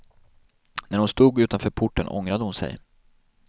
När hon stod utanför porten ångrade hon sig.